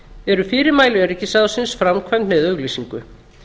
eru fyrirmæli öryggisráðsins framkvæmd með auglýsingu